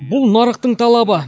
бұл нарықтың талабы